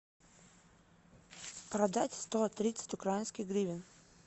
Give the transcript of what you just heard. продать сто тридцать украинских гривен